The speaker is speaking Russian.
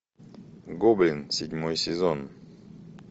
гоблин седьмой сезон